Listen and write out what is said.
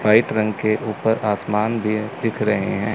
White रंग के ऊपर आसमान भी दिख रहे हैं।